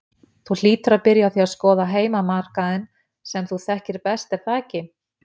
Þú hlýtur að byrja á að skoða heimamarkaðinn sem þú þekkir best er það ekki?